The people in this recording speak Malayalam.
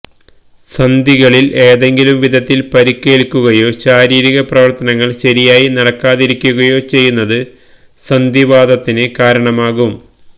സന്ധികളില് ഏതെങ്കിലും വിധത്തില് പരിക്കേല്ക്കുകയോ ശാരീരികപ്രവര്ത്തനങ്ങള് ശരിയായി നടക്കാതിരിക്കുകയോ ചെയ്യുന്നത് സന്ധിവാതത്തിന് കാരണമാകാം